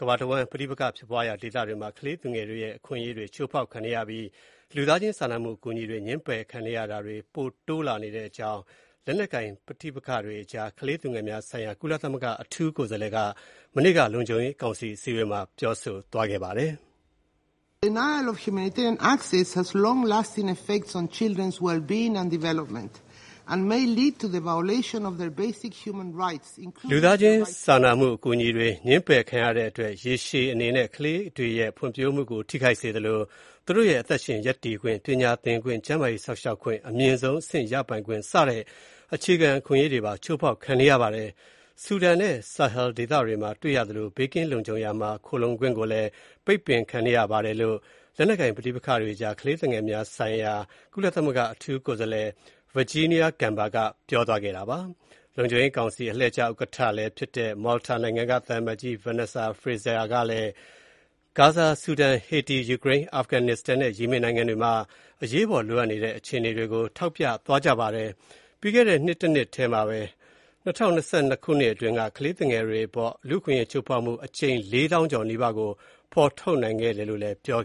ကမ္ဘာတဝှမ်း ပဋိပက္ခ ဖြစ်ပွားတဲ့ ဒေသတွေမှာ ကလေးသူငယ်တွေရဲ့ အခွင့်အရေးတွေ ချိုးဖေါက်ခံနေရပြီး လူသားချင်းစာနာမှု အကူအညီတွေ ငြင်းပယ်ခံနေရတာတွေ ပိုတိုးလာနေတဲ့အကြောင်း လက်နက်ကိုင် ပဋိပက္ခတွေကြား ကလေးသူငယ်များ ဆိုင်ရာ ကုလသမဂ္ဂ အထူးကိုယ်စားလှယ်က မနေ့က လုံခြုံရေးကောင်စီအစည်းအဝေးမှာ ပြောဆိုသွားပါတယ်။ "လူသားချင်း စာနာမှု အကူအညီတွေ ငြင်းပယ်ခံရတဲ့အတွက် ရေရှည်အနေနဲ့ ကလေးတွေရဲ့ ဖွံ့ဖြိုးမှုကို ထိခိုက်စေသလို၊ သူတို့ရဲ့ အသက်ရှင် ရပ်တည်ခွင့်၊ ပညာသင်ခွင့်၊ ကျန်းမာရေး စောင့်ရှောက်မှု အမြင့်ဆုံးအဆင့်ရပိုင်ခွင့် စတဲ့ အခြေခံအခွင့်အရေးတွေ ချိုးဖေါက်ခံနေရပါတယ်။ ဆူဒန်နဲ့ Sahel ဒေသတွေမှာ တွေ့ရသလိုပဲ ဘေးကင်းလုံခြုံရာမှာ ခိုလှုံခွင့်ကိုလည်း ပိတ်ပင်ခံနေရပါတယ်" လို့ လက်နက်ကိုင် ပဋိပက္ခတွေကြား ကလေးသူငယ်များ ဆိုင်ရာ ကုလသမဂ္ဂ အထူးကိုယ်စားလှယ် Virginia Gamba က ပြောဆိုသွားတာပါ။ လုံခြုံရေးကောင်စီ အလှည့်ကျ ဥက္ကဋ္ဌဖြစ်တဲ့ Malta နိုင်ငံ သံအမတ်ကြီး Vanessa Frazier ကလည်း ဂါဇာ၊ ဆူဒန်၊ ဟေတီ၊ ယူကရိန်း၊ အာဖဂန်နစ္စတန်နဲ့ ယီမင်နိုင်ငံတွေမှာ အရေးပေါ် လိုအပ်နေတဲ့ အခြေအနေတွေကို ထောက်ပြသွားပါတယ်။ ၂၀၂၂ ခုနှစ်တုန်းက ကလေးသူငယ်တွေအပေါ် အခွင့်အရေးချိုးဖေါက်မှု အကြိမ် လေးသောင်းကျော်နီးပါးကို ဖေါ်ထုတ်နိုင်ခဲ့တယ်လို့လည်း သူက ပြော